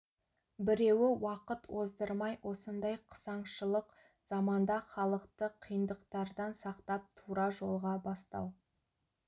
біреуі уақыт оздырмай осындай қысаңшылық заманда халықты қиындықтардан сақтап тура жолға бастау